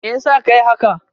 Meyasa ka yi haka?